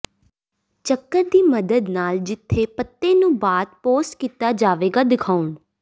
ਚੱਕਰ ਦੀ ਮਦਦ ਨਾਲ ਜਿੱਥੇ ਪੱਤੇ ਨੂੰ ਬਾਅਦ ਪੋਸਟ ਕੀਤਾ ਜਾਵੇਗਾ ਦਿਖਾਉਣ